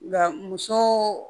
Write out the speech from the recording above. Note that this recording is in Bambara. Nka muso